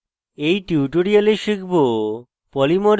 in tutorial শিখব